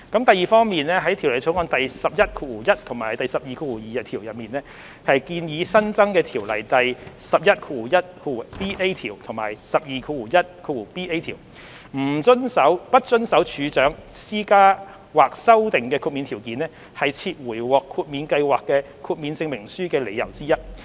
第二方面，在《條例草案》第111和122條，即建議新增的《條例》第111條和121條，"不遵守處長施加或修訂的豁免條件"是撤回獲豁免計劃的豁免證明書的理由之一。